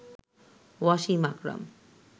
Wasim Akram